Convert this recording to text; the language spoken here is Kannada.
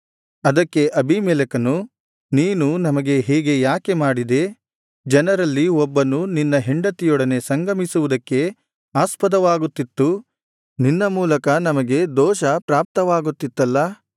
ಅದಕ್ಕೆ ಅಬೀಮೆಲೆಕನು ನೀನು ನಮಗೆ ಹೀಗೆ ಯಾಕೆ ಮಾಡಿದೆ ಜನರಲ್ಲಿ ಒಬ್ಬನು ನಿನ್ನ ಹೆಂಡತಿಯೊಡನೆ ಸಂಗಮಿಸುವುದಕ್ಕೆ ಆಸ್ಪದವಾಗುತ್ತಿತ್ತು ನಿನ್ನ ಮೂಲಕ ನಮಗೆ ದೋಷ ಪ್ರಾಪ್ತವಾಗುತ್ತಿತ್ತಲ್ಲಾ